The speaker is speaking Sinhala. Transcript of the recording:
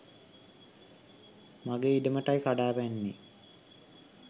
මගේ ඉඩමටයි කඩා පැන්නේ